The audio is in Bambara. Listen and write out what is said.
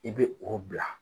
I bɛ o bila.